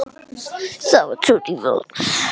Það var Tóti Vagns.